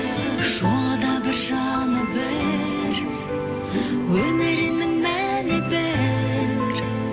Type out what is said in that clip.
жолы да бір жаны бір өмірінің мәні бір